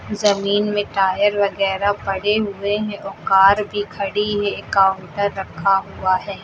जमीन में टायर वगैरा पड़े हुए हैं वो कार भी खड़ी है काउंटर रखा हुआ है।